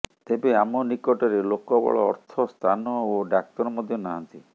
ତେବେ ଆମ ନିକଟରେ ଲୋକବଳ ଅର୍ଥ ସ୍ଥାନ ଓ ଡାକ୍ତର ମଧ୍ୟ ନାହାଁନ୍ତି